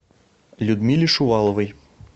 людмиле шуваловой